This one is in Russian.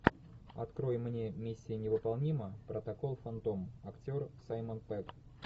открой мне миссия не выполнима протокол фантом актер саймон пегг